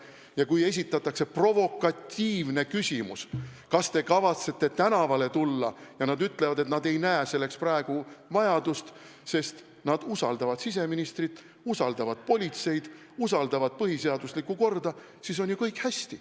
Ja kui esitatakse provokatiivne küsimus, kas te kavatsete tänavale tulla, ja nad ütlevad, et nad ei näe selleks praegu vajadust, sest nad usaldavad siseministrit, usaldavad politseid, usaldavad põhiseaduslikku korda, siis on ju kõik hästi.